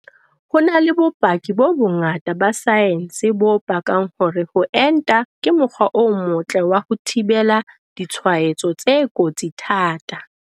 Ho na le bopaki bo bongata ba saense bo pakang hore ho enta ke mokgwa o motle wa ho thibela ditshwaetso tse kotsi thata.